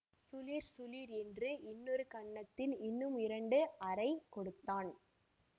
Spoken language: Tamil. சுளீர் சுளீர் என்று இன்னொரு கன்னத்தில் இன்னும் இரண்டு அறை கொடுத்தான்